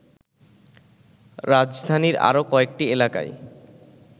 রাজধানীর আরো কয়েকটি এলাকায়